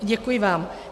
Děkuji vám.